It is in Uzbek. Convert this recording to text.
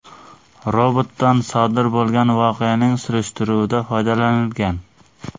Robotdan sodir bo‘lgan voqeaning surishtiruvida foydalanilgan.